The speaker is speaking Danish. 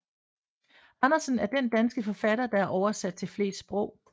Andersen er han den danske forfatter der er oversat til flest sprog